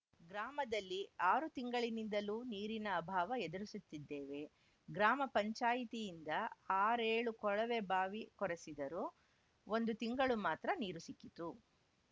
ಗ್ರಾಮದಲ್ಲಿ ಆರು ತಿಂಗಳಿನಿಂದಲೂ ನೀರಿನ ಅಭಾವ ಎದುರಿಸುತ್ತಿದ್ದೇವೆ ಗ್ರಾಮ ಪಂಚಾಯಿತಿಯಿಂದ ಆರೇಳು ಕೊಳವೆಬಾವಿ ಕೊರೆಸಿದರೂ ಒಂದು ತಿಂಗಳು ಮಾತ್ರ ನೀರು ಸಿಕ್ಕಿತು